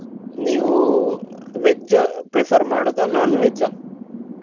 ನೀವು veg prefer ಮಾಡೋದಾ non veg ಆ?